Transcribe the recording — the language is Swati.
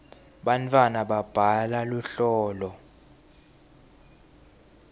bantwana babhala luhlolo